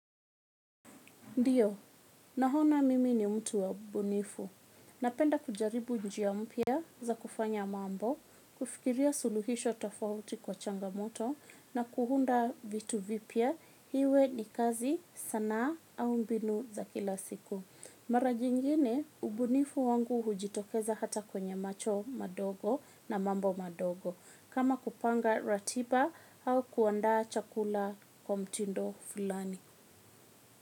Ndiyo, naona mimi ni mtu wa ubunifu. Napenda kujaribu njia mpya za kufanya mambo, kufikiria suluhisho tofauti kwa changamoto na kuunda vitu vipya iwe ni kazi sanaa au mbinu za kila siku. Mara jingine, ubunifu wangu hujitokeza hata kwenye macho madogo na mambo madogo. Kama kupanga ratiba au kuandaa chakula kwa mtindo fulani.